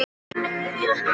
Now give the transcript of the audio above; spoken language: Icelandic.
Gengur út.